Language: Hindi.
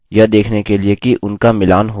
याद रखें वे एंक्रिप्टेड हैं